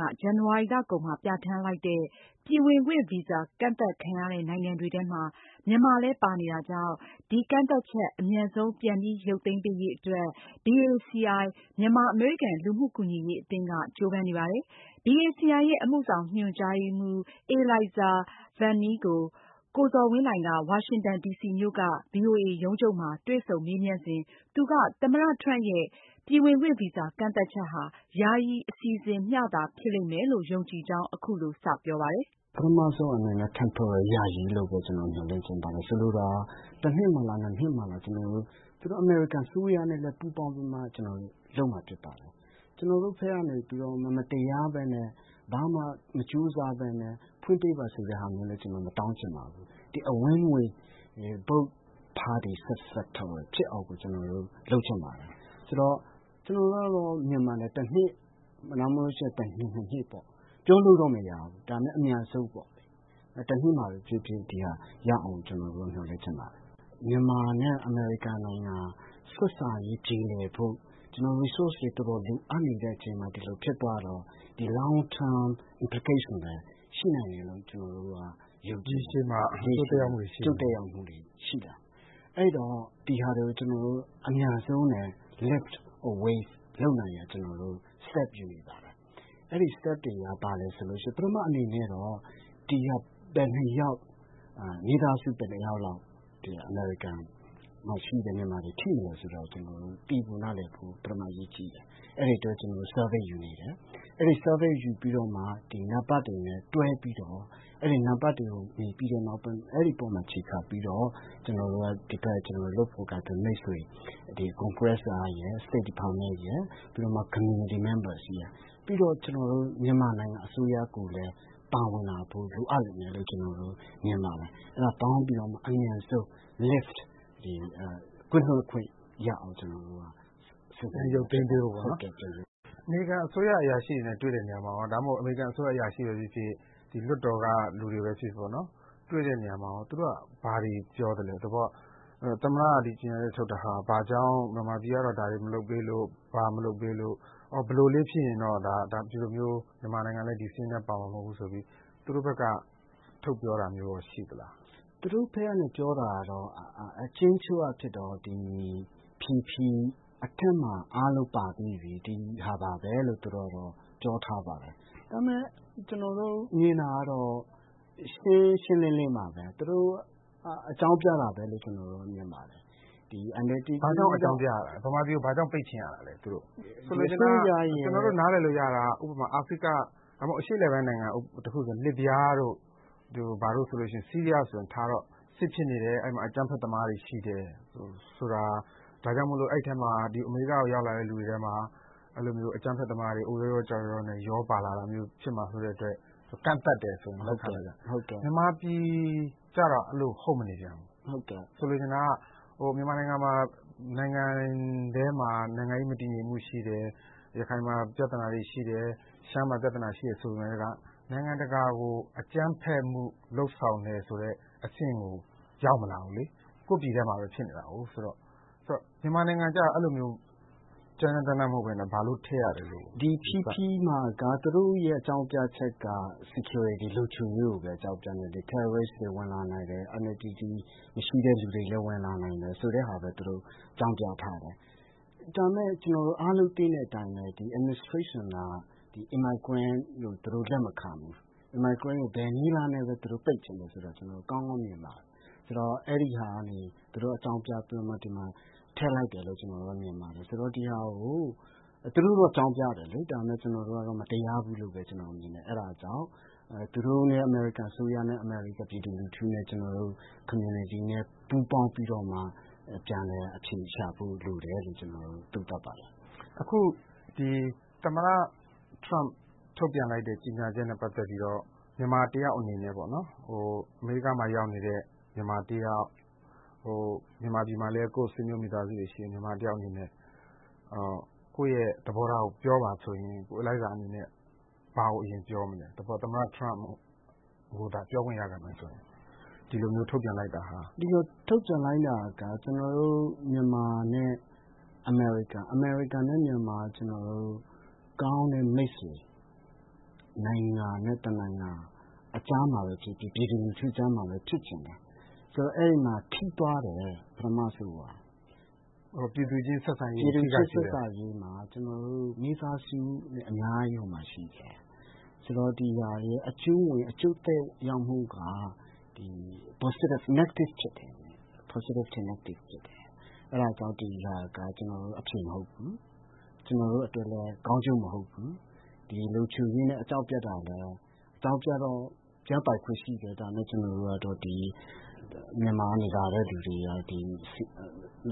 က ဇန်နဝါရီလကုန်မှာ ပြဌာန်းလိုက်တဲ့ ပြည်ဝင်ခွင့်ဗီဇာ ကန့်သတ်ခံရတဲ့နိုင်ငံတွေထဲ မြန်မာလည်း ပါနေတာကြောင့် ဒီကန့်သတ်ချက် အမြန်ဆုံး ပြန်လည် ရုပ်သိမ်းပေးရေးအတွက် BACI မြန်မာ-အမေရိကန် လူမှုကူညီရေးအသင်းက ကြိုးပမ်းနေပါတယ်။ BACI ရဲ့ အမှုဆောင်ညွန်ကြားရေးမှူး Elaisa Vahnie ကို ကိုဇော်ဝင်းလှိုင်က ဝါရှင်တန် ဒီစီမြို့က ဗွီအိုအေရုံးချုပ်မှာ တွေ့ဆုံ မေးမြန်းစဉ် သူက သမ္မတ Trump ရဲ့ ဒီ ပြည်ဝင်ခွင့်ဗီဇာ ကန့်သတ်ချက်ဟာ ယာယီ အစီအစဉ်မျှသာ ဖြစ်လိမ့်မယ်လို့ ယုံကြည်ကြောင်း အခုလို စပြောပါတယ်။ ပထမဆုံး အနေနဲ့ကတော့ ထပ်ပြီးဘဲ ယာယီ အနေနဲ့ဘဲ မျှော်လင့်ချင်ပါတယ်။ ဆိုလိုတာက တနှစ်လား ၂ နှစ်လား ကျနော်တို့ အမေရိကန် အစိုးရနဲ့ ပူးပေါင်းပြီးတော့မှ လုပ်မှာ ဖြစ်ပါတယ်။ ကျနော်တို့ဘက်က နေပြီးတော့မှ မတရားဘဲနဲ့ ဘာမှ မကြိုးစားဘဲနဲ့ ဖွင့်ပေးပါဆိုတဲ့ ဟာမျိုးလည်း မတောင်းချင်ပါဘူး။ Win - Win both parties success ဖြစ်အောင် ကျနော်တို့ လုပ်ချင်ပါတယ်။ ဆိုတော့ ကျနော်တို့ မြန်မာနိုင်ငံကတော့ တနှစ် ၂ နှစ်ပေါ့။ ပြောလို့တော့ မရဘူး။ ဒါပေမယ့် အမြန်ဆုံးပေါ့ တနှစ်မှာဘဲ ဖြစ်ဖြစ် ဒီဟာ ရအောင် ကျနော်တို့ မျှော်လင့်ချင်ပါတယ်။ မြန်မာနဲ့ အမေရိကန် နိုင်ငံ ဆက်ဆံရေး ပြေလည်ဖို့ ကျနော်တို့ Resource တွေ တော်တော်လိုအပ်နေတဲ့ အချိန်မှာ ဒီလို ဖြစ်သွားတော့ ဒီ Long Term implications ရှိနိုင်တယ်လု့ိ ရေရှည် အကျိုးသက်ရောက်မှုတွေ ရှိလာမယ်။ အဲတော့ ဒီဟာတွေကို အမြန်ဆုံးနဲ့ lift away လုပ်နိုင်ရန် ကျနော်တို့ steps ယူနေပါတယ်။ အဲဒီ steps တွေက ဘာလဲ ဆိုလို့ ရှိရင် ပထမ အနေနဲ့တော့ ဒီဟာ ဘယ်နှယောက် ၊ မိသားစု ဘယ်နှယောက်လောက် ဒီ အမေရိကန် မှာ မြန်မာတွေ ထိမလဲ ဆိုတာကို သိဖို့ နားလည်ဖို့ ပထမ အရေးကြီးတယ်။ အဲဒီ အတွက် ကျနော်တို့ Survey ယူနေတယ်။ အဲဒီ Survey ယူပြီးတော့မှာ အဲဒီ နံပတ်တွေနဲ့ တွဲပြီးတော့ အဲဒီ နံပတ်တွေကို မြင်ပြီးတဲ့နောက် အဲဒီ ပေါ်မှာ အခြေခံပြီးတော့ ကျနော်တို့က ဒီဘက် လုပ်ဖော်ကိုင်ဖက် မိတ်ဆွေတွေ၊ Congress ရယ် State Department ရယ် ပြီးတော့မှ Community Members ရယ် ပြီးတော့ ကျနော်တို့ မြန်မာနိုင်ငံ အစိုးရကိုလည်း ပါဝင်လာဖို့ လိုအပ်လိမ့်မယ်လို့ ကျနော် မြင်ပါတယ်။ အဲဒါ ပေါင်းပြီးတော့မှ အမြန်ဆုံး Lift ကင်းလွတ်ခွင့် ရအောင် ကျနော်တို့က ပြန်ရုပ်သိမ်းပေးဖို့နော်။ အမေရိကန် အစိုးရ အရာရှိတွေနဲ့ တွေ့တဲ့ နေရာမှာရော ဒါမှမဟုတ် အမေရိကန် အစိုးရ အရာရှိဘဲ ဖြစ်ဖြစ် ဒီ လွှတ်တော် က လူတွေဘဲ ဖြစ်ဖြစ် တွေ့တဲ့ နေရာမှာ သူတို့က ဘာတွေ ပြောသလဲ။ သဘောက သမ္မတက ဒီကြေညာချက် ထုတ် တာဟာ ဘာကြောင့်၊ မြန်မာပြည်က ဒါတွေ မလုပ်ပေးလို့၊ ဘာမလုပ်ပေးလို့၊ အော် ဘယ်လိုလေး ဖြစ်ရင်တော့ ဒီလိုမျိုး မြန်မာနိုင်ငံလည်း ဒီစာရင်းထဲ ပါမှာ မဟုတ်ဘူးဆိုပြီး သူတို့ဘက်က ထုတ်ပြောတာမျိုးရော ရှိသလား။ သူတို့ဘက်က ပြောတာကတော့ အကျဉ်းချုပ် အားဖြင့်တော့ PP - Presidential Proclamation ထဲမှာ အားလုံးပါပြီးပြီ။ ဒီဟာပါဘဲလို့ သူတို့ပြောထားပါတယ်။ ဒါပေမယ့် ကျနော်တို့ မြင်တာကတော့ ရှင်းရှင်းလင်းလင်းပါဘဲ။ သူတို့ အကြောင်းပြတာဘဲလို့ ကျနော်တို့ မြင်ပါတယ်။ ဘာကြောင့် အကြောင်းပြတာလဲ။ မြန်မာပြည်ကို ဘာကြောင့် ပိတ်ချင်ရတာလဲ သူတို့။ ဆိုလိုတာက အာဖရိက အရှေ့အလယ်ပိုင်း နိုင်ငံတခုဆို လစ်ဗျားတို့ ဆီးရီးယားတို့ဆိုထားတော့ စစ်ဖြစ်နေတယ် အဲဒီမှာ အကြမ်းဖက် သမားတွေ ရှိတယ် ဆိုတာ ဒါကြောင့်မို့ အဲဒီထဲမှာ အမေရိကကို ရောက်လာတဲ့ သူတွေထဲမှာ အဲလိုမျိုး အကြမ်းဖက် သမားတွေ အုတ်ရောရော ကျောက်ရောရောနဲ့ ရောပါလာတာမျိုး ဖြစ်မှာ စိုးတဲ့ အတွက် ကန့်သတ်တယ်ဆိုရင် လက်ခံတယ်။ မြန်မာပြည် ကျတော့ အဲလို ဟုတ်မနေပြန်ဘူး။ ဆိုလိုချင်တာက မြန်မာနိုင်ငံမှာ နိုင်ငံထဲမှာ နိုင်ငံရေး မတည်ငြိမ်မှု ရှိတယ်။ ရခိုင်မှာ ပြသနာတွေ ရှိတယ်။ ရှမ်းမှာ ပြသနာတွေ ရှိတယ်ဆိုပေမယ့် နိုင်ငံတကာကို အကြမ်းဖက်မှု လုပ်ဆောင် တယ်ဆိုတဲ့ အဆင့်ကို ရောက်မလာဘူးလေ။ ကိုယ့် ပြည်ထဲမှာဘဲ ဖြစ်နေတာကိုး ဆိုတော့ မြန်မာနိုင်ငံကျ အဲလိုမျိုး ကြမ်းကြမ်းတမ်းတမ်း မဟုတ်ဘဲ ဘာလို့ ထည့်ရလဲ။ သူတို့ရဲ့ အကြောင်းပြချက်က။ ဒီ PP - Presidential Proclamation မှာက သူတို့ရဲ့ အကြောင်းပြချက်က လုံခြုံရေးကိုဘဲ အကြောင်းပြတယ်။ အကြမ်းဖက် ဝါဒီတွေ ဝင်လာနိုင်တယ် ဆိုတဲ့ဟာဘဲ သူတို့ အကြောင်းပြထားတယ်။ ဒါပေမယ့် ကျနော်တို့ အားလုံး သိတဲ့ အတိုင်းဘဲ ဒီ အစိုးရက ရွှေ့ပြောင်းအခြေချမှုကို လက်မခံဘူး။ ရွှေ့ပြောင်းဝင်ရောက်မှုကို ဘယ်နည်းလမ်းနဲ့ ပိတ်ချင်တာဆိုတာလည်း ကျနော်တို့ ကောင်းကောင်း မြင်ပါတယ်။ ဆိုတော့ အဲဒီဟာကနေ သူတို့ အကြောင်းပြပြီး ထည့်လိုက် တယ်လို့ ကျနော်တို့ မြင်ပါတယ်။ ဆိုတော့ ဒီဟာကို သူတို့တော့ အကြောင်းပြတယ်လေ။ ဒါပေမယ့် ကျနော်တို့က မတရားဘူးလို့ဘဲ ကျနော်မြင်တယ်။ အဲဒါ ကြောင့် သူတို့နဲ့ အမေရိကန် အစိုးရနဲ့ အမေရိကန် ပြည်သူလူထုနဲ့ ကျနော်တို့ လူမှုအသိုင်းအဝိုင်းနဲ့ ပူးပေါင်းပြီးတော့မှ ပြန်လည် အဖြေရှာဖို့ လိုတယ်လို့ ကျနော်တို့ သုံးသပ်ပါတယ်။ အခု ဒီ သမ္မတ Trump ထုတ်ပြန်လိုက်တဲ့ ကြေညာချက်နဲ့ ပတ်သက်ပြီးတော့ မြန်မာ တယောက် အနေနဲ့ပေါ့နော် အမေရိက မှာ ရောက်နေတဲ့ မြန်မာ တယောက် မြန်မာပြည်မှာလည်း ကိုယ့် ဆွေမျိုး မိသားစုတွေ ရှိ နေတဲ့ မြန်မာ တယောက် အနေနဲ့ ကိုယ့်ရဲ့ သဘောထားကို ပြောပါဆိုရင် ကိုElaisa အနေနဲ့ ဘာကို အရင် ပြောမလဲ။ သဘောက သမ္မတ Trump ကိုသာ ပြောခွင့် ရလာမယ်ဆိုရင်။ ဒီလို ထုတ်ပြန်လိုက်တာဟာ။ ဒီလို ထုတ်ပြန်လိုက်တာက ကျနော်တို့ မြန်မာနဲ့ အမေရိကန် ၊ အမေရိကန်နဲ့ မြန်မာ ကျနော်တို့ ကောင်းတဲ့ မိတ်ဆွေ နိုင်ငံကြားမှာဘဲ ဖြစ်ဖြစ် ပြည်သူတွေကြားမှာဘဲ ဖြစ်ဖြစ် ဖြစ်ချင်တယ်။ ဆိုတော့ အဲဒီမှာ ထိသွားတယ် ပထမဆုံးက။ အော် ပြည်သူချင်း ဆက်ဆံရေး။ ပြည်သူနဲ့ ဆက်ဆံရေးမှာ ကျနော်တို့ မိသားစုတွေ အများကြီး ဟိုမှာ ရှိတယ်။ ဆိုတော့ ဒီဟာရဲ့ အကျိုးသက်ရောက်မှုက ဒီ အနုတ်သဘော ဖြစ်တယ်။ အပြုသဘောထက် အနုတ်သဘောပိုဆောင်။ ဆိုတော့ ဒီဟာက အဖြေမဟုတ်ဘူး။ ကျနော်တို့ အတွက်လည်း ကောင်းကျိုး မဟုတ်ဘူး။ ဒီလုံခြုံရေးနဲ့ အကြောင်းပြတာလည်း အကြောင်းပြတာက ပြပိုင်ခွင့် ရှိတယ်။ ဒါပေမယ့် ကျနော်တို့ကတော့ ဒီ မြန်မာက လာတဲ့ လူတွေက ဒီ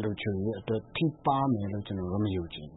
လုံခြုံရေး အတွက် ထိပါးမယ်လို့ ကျနော်တို့ မယုံကြည်